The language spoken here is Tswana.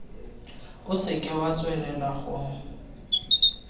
o seke wa tswelela go